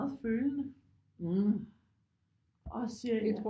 Følende og siger ja